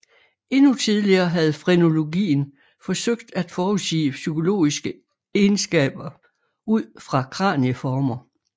Endnu tidligere havde frenologien forsøgt at forudsige psykologiske egenskaber ud fra kranieformer